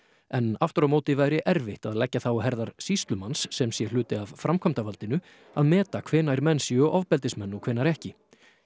en aftur á móti væri erfitt að leggja það á herðar sýslumanns sem sé hluti af framkvæmdavaldinu að meta hvenær menn séu ofbeldismenn og hvenær ekki